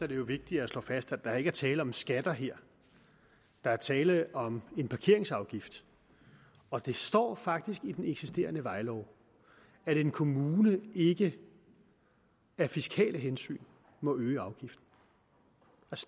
det jo vigtigt at slå fast at der ikke er tale om skatter her der er tale om en parkeringsafgift og det står faktisk i den eksisterende vejlov at en kommune ikke af fiskale hensyn må øge afgiften